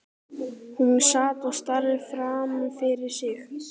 Hún sat og starði framfyrir sig.